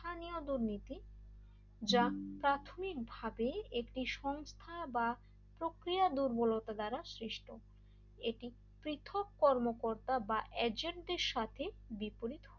দুর্নীতি যা প্রাথমিকভাবে একটি সংস্থা বা প্রক্রিয়া দূর্বলতা দ্বারা সৃষ্ট এটি পৃথক কর্মকর্তা বা এজেন্টের সাথে বিপরীত